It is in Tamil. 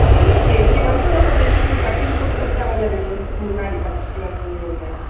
இல்லையே இங்க வந்து ஒருத்தர் தைச்சி, cutting போட்டு கொடுத்தாங்களா, ரெண்டு வருஷத்துக்கு முன்னாடி பச்சை color துணி ஒன்னு.